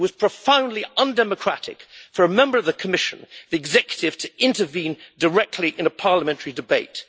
It was profoundly undemocratic for a member of the Commission the executive to intervene directly in a parliamentary debate.